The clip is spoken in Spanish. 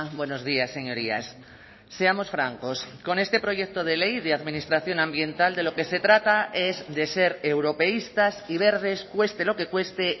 buenos días señorías seamos francos con este proyecto de ley de administración ambiental de lo que se trata es de ser europeístas y verdes cueste lo que cueste